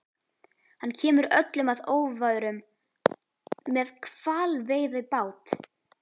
Hann kemur öllum að óvörum- með hvalveiðibát!